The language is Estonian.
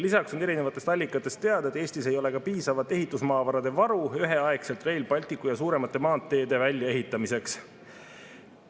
Lisaks on erinevatest allikatest teada, et Eestis ei ole piisavat ehitusmaavarade varu üheaegselt Rail Balticu ja suuremate maanteede väljaehitamiseks.